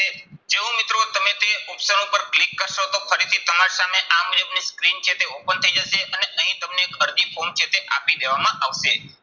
જેવું મિત્રો તમે તે option ઉપર click કરશો તો ફરીથી તમારી સામે આ મુજબની screen છે તે open થઇ જશે અને અહીં તમને એક અરજી form છે તે આપી દેવામાં આવશે.